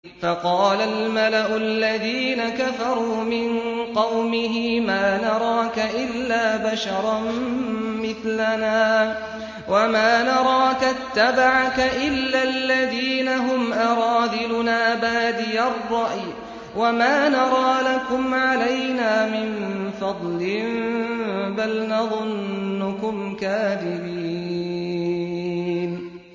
فَقَالَ الْمَلَأُ الَّذِينَ كَفَرُوا مِن قَوْمِهِ مَا نَرَاكَ إِلَّا بَشَرًا مِّثْلَنَا وَمَا نَرَاكَ اتَّبَعَكَ إِلَّا الَّذِينَ هُمْ أَرَاذِلُنَا بَادِيَ الرَّأْيِ وَمَا نَرَىٰ لَكُمْ عَلَيْنَا مِن فَضْلٍ بَلْ نَظُنُّكُمْ كَاذِبِينَ